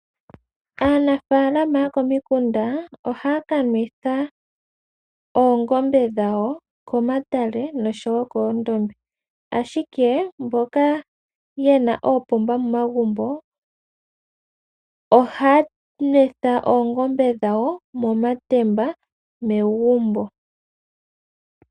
Aanafaalama yokomikunda ohaya ka nwetha oongombe dhawo komatale nosho wo koondombe, ashike mboka ye na oopomba momagumbo ohaya nwetha oongombe dhawo momatemba megumbo.